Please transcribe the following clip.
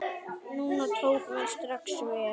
Nunna tók mér strax vel.